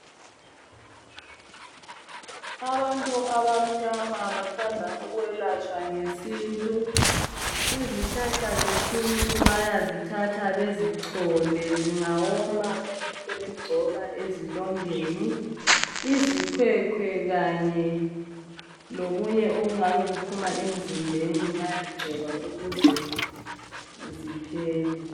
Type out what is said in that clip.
Abantu abamnyama bathanda ukwelatshwa ngesintu. Izihlahla zesintu bayazithatha bezochole zingawoma bebesebegcoba ezilondeni, izikhwekhwe kanye lokunye okungabe kuphuma emzimbeni bayagcoba ukuze ziphele.